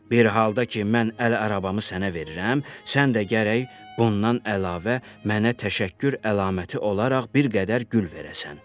Bir halda ki, mən əl arabamı sənə verirəm, sən də gərək bundan əlavə mənə təşəkkür əlaməti olaraq bir qədər gül verəsən.